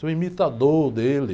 Ser o imitador dele.